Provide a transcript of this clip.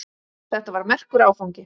Þetta var merkur áfangi.